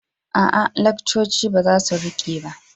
A'a, lakcoci ba za su riƙe ba.